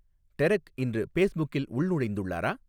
Derek இன்று பேஸ்புக்கில் உள்நுழைந்துள்ளாரா